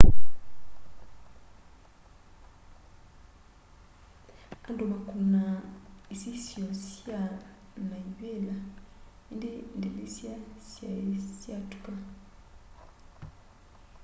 andu makunaa isisyo sya na ivila indi ndilisya siai syatuka